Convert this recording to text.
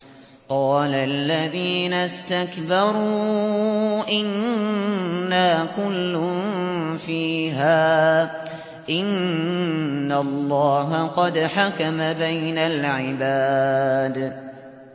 قَالَ الَّذِينَ اسْتَكْبَرُوا إِنَّا كُلٌّ فِيهَا إِنَّ اللَّهَ قَدْ حَكَمَ بَيْنَ الْعِبَادِ